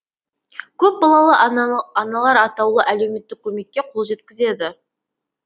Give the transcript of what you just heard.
көпбалалы аналар атаулы әлеуметтік көмекке қол жеткізеді